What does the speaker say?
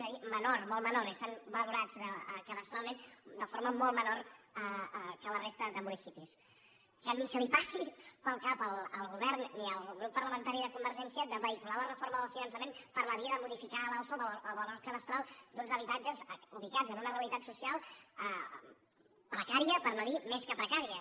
és a dir menor molt menor i estan valorats cadastralment de for ma molt menor que la resta de municipis que ni li passi pel cap al govern ni al grup parlamentari de convergència de vehicular la reforma del finançament per la via de modificar a l’alça el valor cadastral d’uns habitatges ubicats en una realitat social precària per no dir més que precària